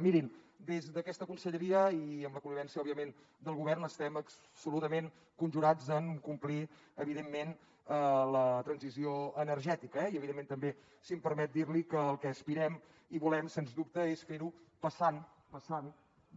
mirin des d’aquesta conselleria i amb la connivència òbviament del govern estem absolutament conjurats en complir evidentment la transició energètica eh i evidentment també si em permet dir li al que aspirem i volem sens dubte és fer ho passant